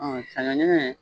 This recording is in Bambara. Ɔn saɲɔn ɲɛnɲɛn.